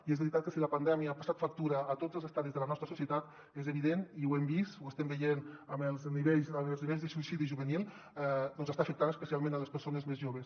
i és veritat que si la pandèmia ha passat factura a tots els estadis de la nostra societat és evident i ho hem vist ho estem veient amb els nivells de suïcidi juvenil doncs que està afectant especialment les persones més joves